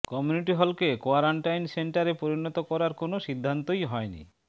community হলকে quarantine সেন্টারে পরিণত করার কোনও সিদ্ধান্তই হয়নি